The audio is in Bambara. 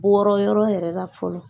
Bɔra yɛrɛ la fɔlɔ